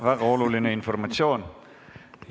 Väga oluline informatsioon.